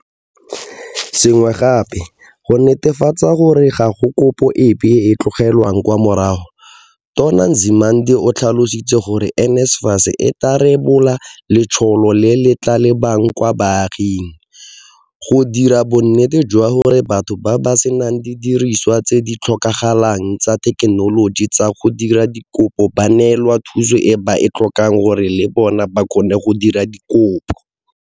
Se sengwe gape, go netefatsa gore ga go kopo epe e e tlogelwang kwa morago, Tona Nzimande o tlhalositse gore NSFAS e tla rebola letsholo le le tla lebang kwa baaging, go dira bonnete jwa gore batho ba ba senang didiriswa tse di tlhokagalang tsa thekenoloji tsa go dira dikopo ba neelwa thuso e ba e tlhokang gore le bona ba kgone go dira dikopo.